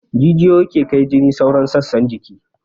Jijiyoyi ke kai jini sauran sassan jiki